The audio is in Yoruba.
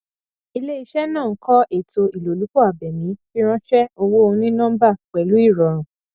iléiṣẹ náà ń kọ ètò ilolupo abémi fìránṣẹ owó ònínọmbà pẹlú ìrọrùn